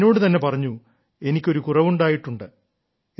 ഞാൻ എന്നോടു തന്നെ പറഞ്ഞു എനിക്ക് ഒരു കുറവുണ്ടായിട്ടുണ്ട്